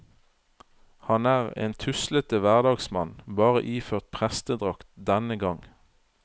Han er en tuslete hverdagsmann, bare iført prestedrakt denne gang.